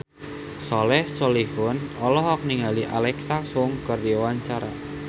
Soleh Solihun olohok ningali Alexa Chung keur diwawancara